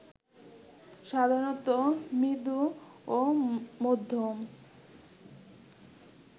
সাধারণত মৃদু ও মধ্যম